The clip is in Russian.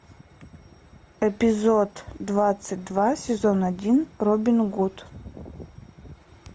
эпизод двадцать два сезон один робин гуд